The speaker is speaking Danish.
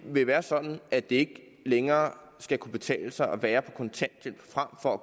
vil være sådan at det længere skal kunne betale sig at være på kontanthjælp frem for